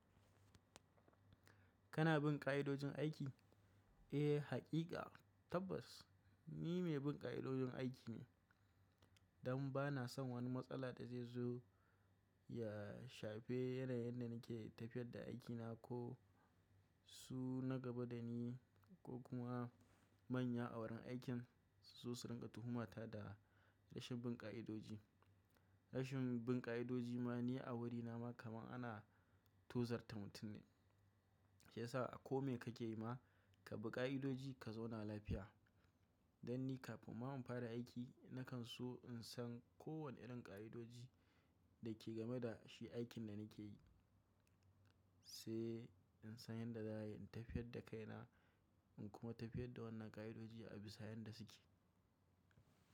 Kana bin ƙa'idojin aiki? Eh, haƙiƙa tabbas ni mai bin ƙa'idojin aiki ne. Dan ba na son wani matsala da zai zo ya shafe yanayin da nake tafiyar da aikina ko su na gaba da ni ko kuma manya a wurin aikin sai su rinƙa tuhumata da rashin bin ƙa'idoji. Rashin bin ƙa'idoji ma ni a wurina ma kamar ana tozarta mutum ne. Shi yasa a ko me kake yi ma ka bi ƙa'idoji ka zauna lafiya. Dan ni kafin ma in fara aiki nakan so in san kowane irin ƙa'idoji da ke game da shi aikin da nake yi. Sai in san yadda za a yi, in tafiyar da kaina, in kuma tafiyar da wannan ƙa'idoji a bisa yadda suke.